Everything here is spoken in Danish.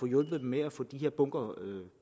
hjulpet dem med at få de her bunker